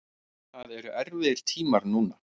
Það eru erfiðir tímar núna.